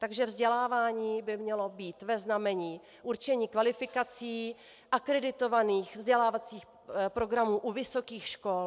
Takže vzdělávání by mělo být ve znamení určení kvalifikací akreditovaných vzdělávacích programů u vysokých škol.